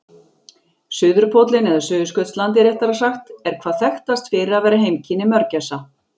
Suðurpóllinn, eða Suðurskautslandið réttara sagt, er hvað þekktast fyrir að vera heimkynni mörgæsa.